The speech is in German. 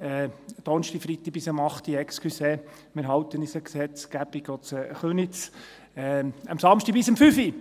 Am und Freitag bis um 20 Uhr, Entschuldigung – wir halten uns auch in Köniz an die Gesetzgebung –, und am Samstag bis um 17 Uhr!